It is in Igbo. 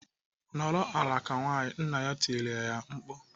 "Nọrọ ala ka nwaanyị!" Nna ya tirile ya mkpu.